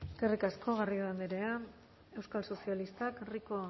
eskerrik asko garrido andrea euskal sozialistak rico